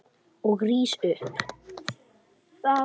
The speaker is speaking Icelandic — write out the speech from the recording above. Ég rís upp.